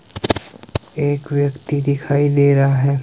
एक व्यक्ति दिखाई दे रहा है।